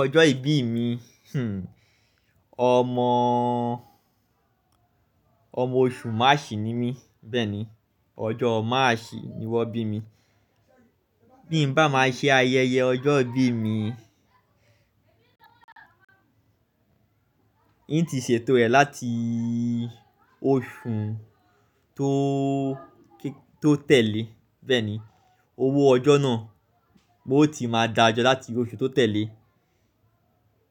Ọjọ́ ìbí mi, omo Oṣù March ni mí bẹ́ẹ̀ni. Ọjọ́ March ni wọ́n bí mi. Bí n bá máa ṣe ayẹyẹ ọjọ́ ìbí mi, n ti ṣètò rẹ̀ láti oṣù tó tẹ̀lé bẹ́ẹ̀ni. Owó ọjọ́ náà, n ó ti máa dáa jọ láti oṣù tó tẹ̀lé.